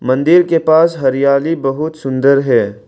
मंदिर के पास हरियाली बहुत सुंदर है।